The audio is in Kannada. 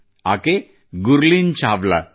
ಆಕೆ ಗುರ್ಲೀನ್ ಚಾವ್ಲಾ